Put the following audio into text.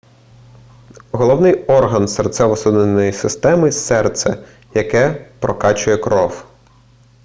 головний орган серцево-судинної системи серце яке прокачує кров